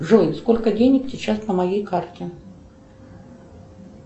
джой сколько денег сейчас на моей карте